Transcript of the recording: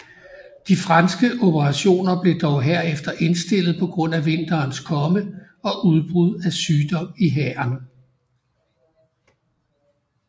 De franske operationer blev dog herefter indstillet på grund af vinterens komme og udbrud af sygdom i hæren